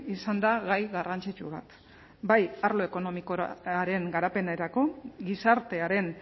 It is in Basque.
izan da gai garrantzitsu bat bai arlo ekonomikoaren garapenerako gizartearen